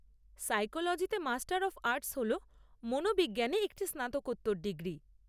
সাইকোলোজিতে master of arts হল মনোবিজ্ঞানে একটি স্নাতকোত্তর ডিগ্রী।